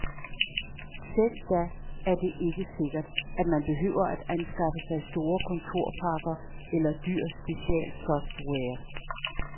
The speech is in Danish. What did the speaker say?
Selv da er det ikke sikkert, at man behøver at anskaffe sig store kontorpakker eller dyr specialsoftware.